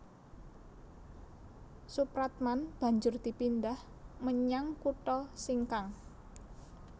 Soepratman banjur dipindah menyang kutha Singkang